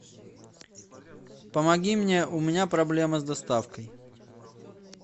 помоги мне у меня проблема с доставкой